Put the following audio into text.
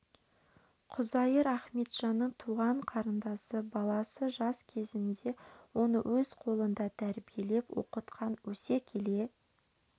құзайыр ахметжанның туған қарындасы баласы жас кезінде оны өз қолында тәрбиелеп оқытқан өсе келе